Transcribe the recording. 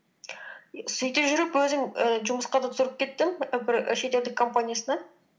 сөйтіп жүріп өзім ііі жұмысқа да тұрып кеттім і бір шетелдік компаниясына